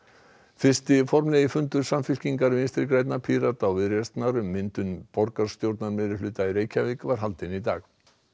fyrsti formlegi fundur Samfylkingar Vinstri grænna Pírata og Viðreisnar um myndun borgarstjórnarmeirihluta í Reykjavík var haldinn í dag